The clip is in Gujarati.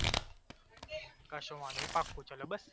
કશો વાંધો નહિ પાક્કુ ચલો બસ